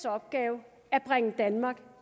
opgave at bringe danmark